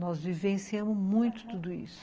Nós vivenciamos muito tudo isso, aham.